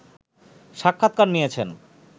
সাক্ষাতকার নিয়েছেন